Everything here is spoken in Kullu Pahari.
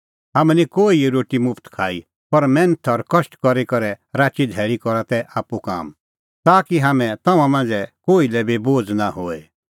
हाम्हैं निं कोहिए रोटी मुफ्त खाई पर मैन्थ और कष्ट करी करै राची धैल़ी करा तै आप्पू काम ताकि हाम्हैं तम्हां मांझ़ै कोही लै बी बोझ़ नां होए